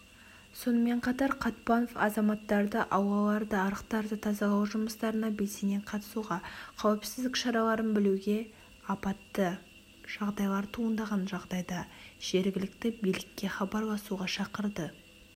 сонымен қатар қатпанов азаматтарды аулаларды арықтарды тазалау жұмыстарына белсене қатысуға қауіпсіздік шараларын білуге апатты жағдайлар туындаған жағдайда жергілікті билікке хабарласуға шақырды